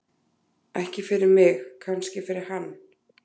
Ekki fyrir mig, kannski fyrir hann.